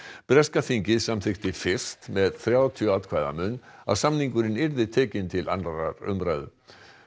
breska þingið samþykkti fyrst með þrjátíu atkvæða mun að samningurinn yrði tekinn til annarrar umræðu